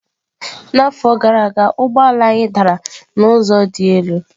N'afọ gara aga ụgbọ ala anyị dara n'ụzọ dị elu.